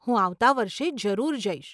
હું આવતે વર્ષે જરૂર જઈશ.